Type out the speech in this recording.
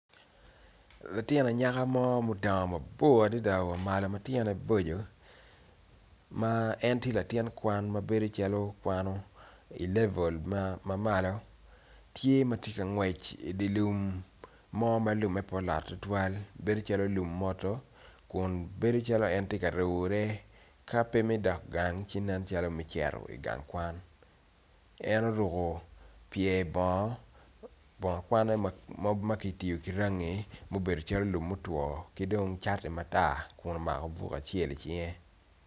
Latin anyaka mo ma odongo mabor adada wa malo ma tyene boco ma en tye latin kwan ma nen calo kwano i level ma malo tye matye ka ngwec i dye lum ma lume nen calo pe olot tutwal bedo calo lum mwoto kun bedo calo en tye ka rune ka pe me dok gang ci nen calo me cito i gang kwan en oruko pye bongo kwane ma ki rangi ma obedo calo lum mutwo ki dong ki dong cati matar kun omako buk acel icinge.